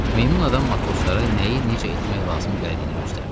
Meymun adam matroslara nəyi necə etmək lazım gəldiyini göstərdi.